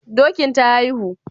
Dokin ta haihu?